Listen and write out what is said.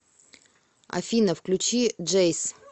афина включи джейс